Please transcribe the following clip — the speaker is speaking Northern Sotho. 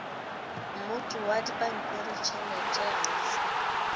mmoto wa dipampiritšhelete a o